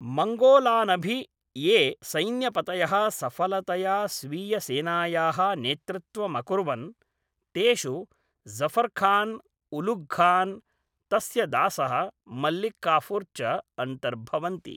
मङ्गोलानभि ये सैन्यपतयः सफलतया स्वीयसेनायाः नेतृत्वमकुर्वन्, तेषु जफरखान्, उलुघखान्, तस्य दासः मलिक्काफुर् च अन्तर्भवन्ति।